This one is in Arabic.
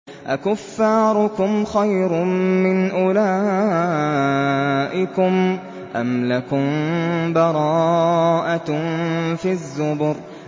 أَكُفَّارُكُمْ خَيْرٌ مِّنْ أُولَٰئِكُمْ أَمْ لَكُم بَرَاءَةٌ فِي الزُّبُرِ